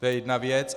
To je jedna věc.